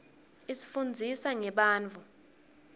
isifunndzisa ngebantfu